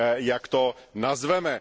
jak to nazveme.